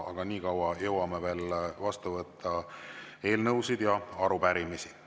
Aga niikaua jõuame veel vastu võtta eelnõusid ja arupärimisi.